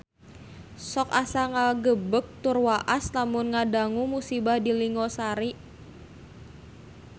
Sok asa ngagebeg tur waas lamun ngadangu musibah di Linggo Asri